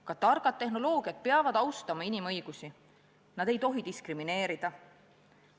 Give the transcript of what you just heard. Ka targad tehnoloogiad peavad austama inimõigusi, nad ei tohi diskrimineerida.